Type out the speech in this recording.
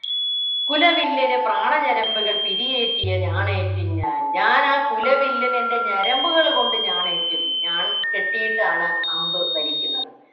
കുലവില്ലിനു പ്രാണ ഞരമ്പുകൾ പിരിയേറ്റിയ ഞാണേറ്റും ഞാൻ ഞാനാ കുലവില്ലിനു എൻ്റെ ഞരമ്പുകൾ കൊണ്ട് ഞാണേറ്റും ഞാൺ കെട്ടിയിട്ടാണ് അമ്പു വലിക്കുന്നത്